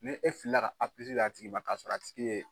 Ni e filila ka A d'a tigi ma k'a sɔrɔ a tigi ye